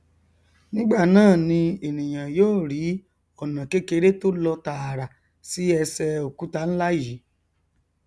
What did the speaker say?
nígbà náà ni ènìà yó rí ọnà kékeré tó lọ tààrà sí ẹsẹ òkúta nlá yìí